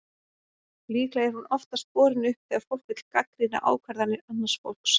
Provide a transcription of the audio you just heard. Líklega er hún oftast borin upp þegar fólk vill gagnrýna ákvarðanir annars fólks.